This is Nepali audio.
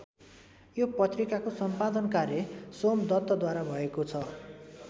यो पत्रिकाको सम्पादन कार्य सोमदत्तद्वारा भएको छ।